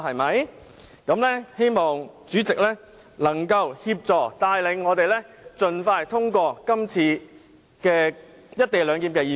"我希望主席協助帶領我們盡快通過《廣深港高鐵條例草案》。